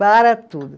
Para tudo.